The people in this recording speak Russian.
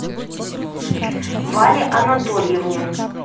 вале анатольевне